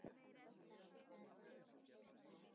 heyrði hann kallað.